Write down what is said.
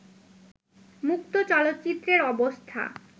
মুক্ত চলচ্চিত্রের অবস্থা